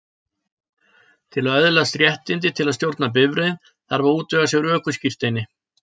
Til að öðlast réttindi til að stjórna bifreið þarf að útvega sér ökuskírteini.